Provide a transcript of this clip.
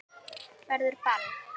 Verður ball?